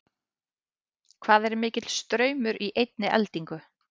hvað er mikill straumur í einni eldingu